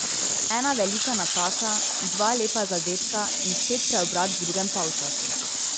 Ena velika napaka, dva lepa zadetka in spet preobrat v drugem polčasu.